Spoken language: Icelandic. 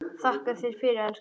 Þakka þér fyrir, elskan.